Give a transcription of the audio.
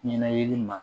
Ɲɛnayiri ma